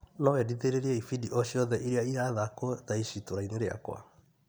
No wendithĩrĩrie ibindi o ciothe iria irathakwo thaa ici itũra-inĩ rĩakwa .